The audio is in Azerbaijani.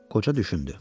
Qoca düşündü.